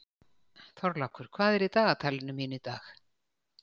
Þorlákur, hvað er í dagatalinu mínu í dag?